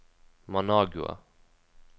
Managua